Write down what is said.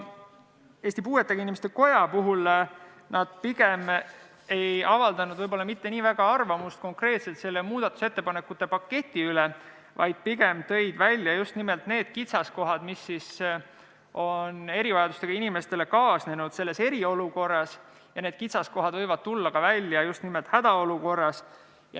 Eesti Puuetega Inimeste Koda ei avaldanud võib-olla mitte nii väga arvamust konkreetselt selle muudatusettepanekute paketi kohta, vaid pigem tõi välja just nimelt need kitsaskohad, mis on erivajadustega inimestele kaasnenud eriolukorras, ja need kitsaskohad võivad tulla välja ka hädaolukorras.